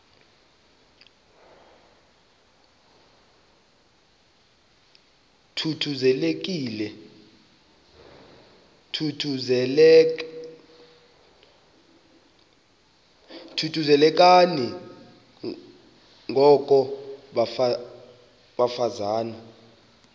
thuthuzelekani ngoko bafazana